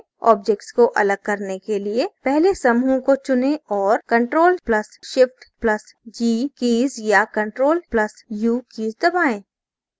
objects को अलग करने के लिए पहले समूह को चुनें और ctrl + shift + g कीज़ या ctrl + u कीज़ दबाएँ